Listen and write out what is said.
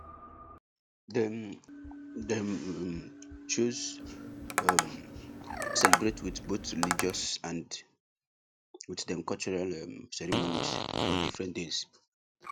dem dem um chose um celebrate with both religious and with dem cultural um ceremonies for different days